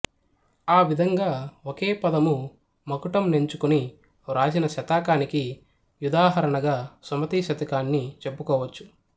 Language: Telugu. ఆవిధంగా ఒకే పదము మకుటం నెంచుకుని వ్రాసిన శతకానికి యుధాహరణగా సుమతీ శతకాన్ని చెప్పుకోవచ్చు